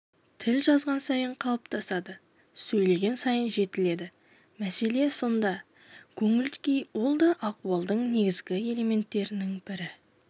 тіл жазған сайын қалыптасады сөйлеген сайын жетіледі мәселе сонда көңіл-күй ол да ахуалдың негізгі элементтерінің бірі